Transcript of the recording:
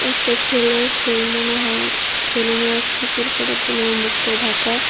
একটা ছেলে সে মনে হয় সেলুনে আসছে চুল কাটার জন্য ওর মুখটা ঢাকা।